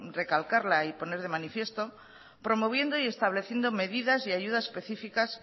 recalcarla y poner de manifiesto promoviendo y estableciendo medidas y ayudas especificas